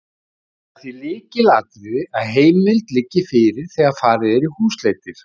Það er því lykilatriði að heimild liggi fyrir þegar farið er í húsleitir.